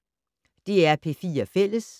DR P4 Fælles